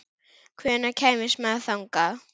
Hvernig kemst maður þangað?